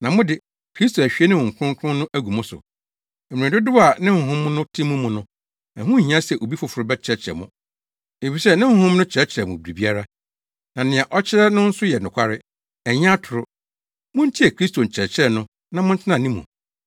Na mo de, Kristo ahwie ne Honhom Kronkron no agu mo so. Mmere dodow a ne Honhom no te mo mu no, ɛho nhia sɛ obi foforo bɛkyerɛkyerɛ mo. Efisɛ ne Honhom no kyerɛkyerɛ mo biribiara. Na nea ɔkyerɛ no nso yɛ nokware; ɛnyɛ atoro. Muntie Kristo nkyerɛkyerɛ no na montena ne mu.